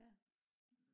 ja